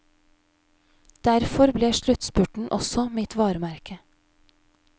Derfor ble sluttspurten også mitt varemerke.